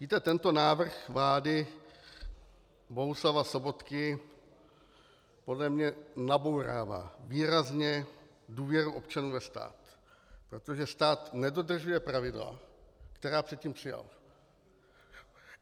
Víte, tento návrh vlády Bohuslava Sobotky podle mě nabourává výrazně důvěru občanů ve stát, protože stát nedodržuje pravidla, která předtím přijal.